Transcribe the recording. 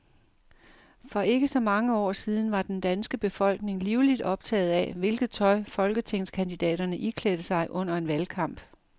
For ikke så mange år siden var den danske befolkning livligt optaget af, hvilket tøj folketingskandidaterne iklædte sig under en valgkamp.